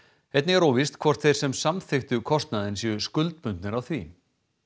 einnig er óvíst hvort þeir sem samþykktu kostnaðinn séu skuldbundnir af því